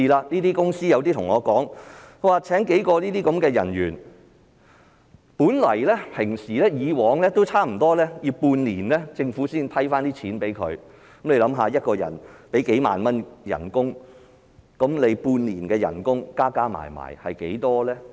有些公司對我說，聘請數個人員，本來以往政府也要半年才撥款，試想一下，一個人的薪金數萬元，半年的薪金合共多少呢？